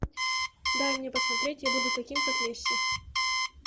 дай мне посмотреть я буду таким как месси